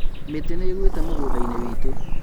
Mĩtĩ nĩĩgũĩte mũgũnda-inĩ witũ